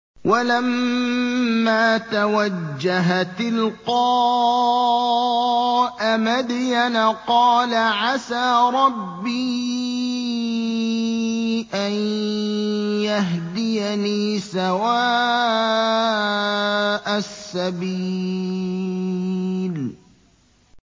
وَلَمَّا تَوَجَّهَ تِلْقَاءَ مَدْيَنَ قَالَ عَسَىٰ رَبِّي أَن يَهْدِيَنِي سَوَاءَ السَّبِيلِ